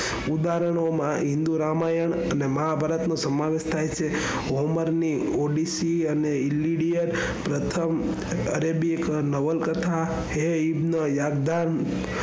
ઉદાહરણોમાં હિન્દૂ રામાયણ અને મહાભારત નો સમાવેશ થાયછે. હોમર ની પોલિસી અને પ્રથમ અરેબિક નવલકથા યાગધં,